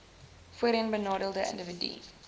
voorheen benadeelde indiwidue